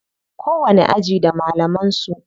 Kowanni aji da malaman su.